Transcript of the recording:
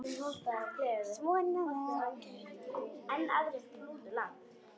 Svona var Gaui.